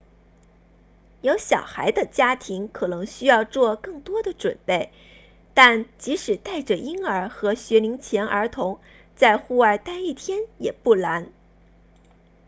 有小孩的家庭可能需要做更多的准备但即使带着婴儿和学龄前儿童在户外待一天也不难